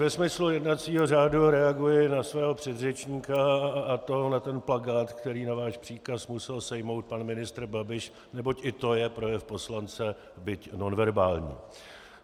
Ve smyslu jednacího řádu reaguji na svého předřečníka, a to na ten plakát, který na váš příkaz musel sejmout pan ministr Babiš, neboť i to je projev poslance, byť nonverbální.